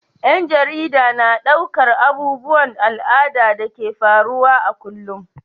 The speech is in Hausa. Ƴan jarida na ɗaukar abubuwan al'ada da ke faruwa a kullum.